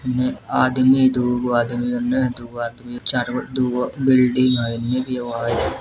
ने इने आदमी दुगो आदमी उने दुगो आदमी चारगो दुगो बिल्डिंग है है।